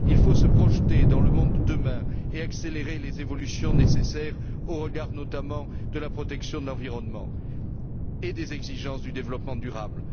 Il faut se projeter dans le monde de demain et accélérer les évolutions nécessaires au regard, notamment, de la protection de l'environnement et des exigences du développement durable.